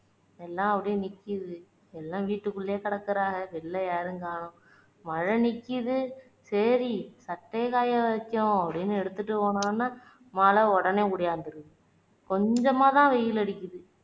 எல்லாம் அப்படியே நிக்கிது எல்லாம் வீட்டுக்குள்ளயே கிடக்குறாக வெளில யாரையும் காணும் மழை நிக்குது சரி சட்டையை காய வைப்போம்னு எடுத்துட்டு போனோம்னா மழை உடனே உடியாந்துருது கொஞ்சமா தான் வெயில் அடிக்குது